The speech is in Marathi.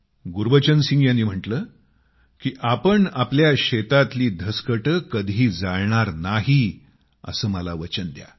गुरबचन सिंगजीने त्याचा म्हटले की आपण आपल्या शेतात पराली कधी जाळणार नाहीत असे मला वचन द्या